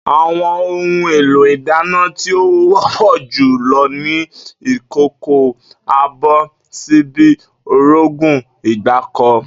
Àwo̩n ohun-èlò ìdáná tí ó wó̩pò̩ jù lo̩ ni ìkòkò, abò̩, s̩íbí, orógùn, ìgbáko̩